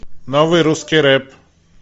новый русский рэп